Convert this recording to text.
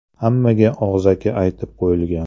Hammaga og‘zaki aytib qo‘yilgan.